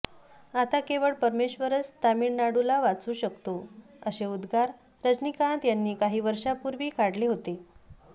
आता केवळ परमेश्वरच तामिळनाडूला वाचवू शकतो असे उदगार रजनीकांत यांनी काही वर्षापूर्वी काढले होते